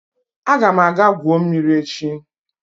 Aga m aga gwuo mmiri echi